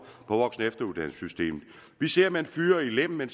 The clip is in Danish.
efteruddannelsessystemet vi ser at man fyrer i lem at man